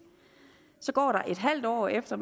så går der et halvt år efter